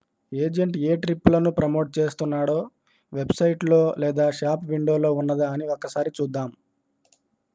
agent ఏ ట్రిప్పులను promote చేస్తున్నాడో వెబ్ సైట్ లో లేదా షాప్ విండోలో ఉన్నదా అని ఒక్కసారి చూద్దాం